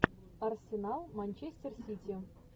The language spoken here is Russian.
арсенал манчестер сити